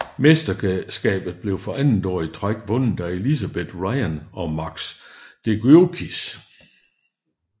Mesterskabet blev for andet år i træk vundet af Elizabeth Ryan og Max Decugis